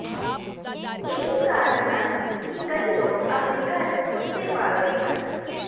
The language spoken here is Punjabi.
ਇਹੀ ਕਾਰਨ ਹਨ ਕਿ ਕਈ ਲੋਕ ਆਪਣੇ ਘਰ ਕੁੱਤੇ ਪਾਲਦੇ ਹਨ